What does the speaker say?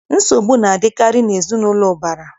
Nsogbu na-adịkarị n'ezinaụlọ ụbara.